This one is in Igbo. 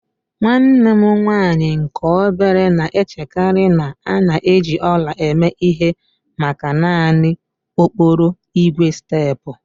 Nwanne m nwanyị nke obere na-echekarị na a na-eji ọla eme ihe maka naanị okporo ígwè steepụ